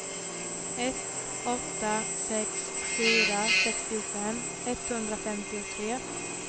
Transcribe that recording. ett åtta sex fyra sextiofem etthundrafemtiotre